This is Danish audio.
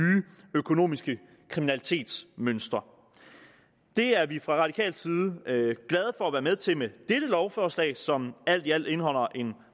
økonomisk kriminalitets mønstre det er vi fra radikal side glade for at være med til med dette lovforslag som alt i alt indeholder en